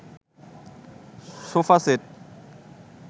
sofa set